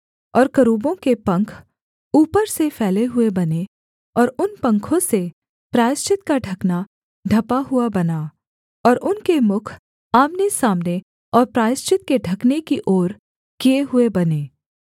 और करूबों के पंख ऊपर से फैले हुए बने और उन पंखों से प्रायश्चित का ढकना ढँपा हुआ बना और उनके मुख आमनेसामने और प्रायश्चित के ढकने की ओर किए हुए बने